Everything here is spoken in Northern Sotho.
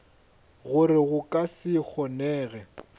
gore go ka se kgonege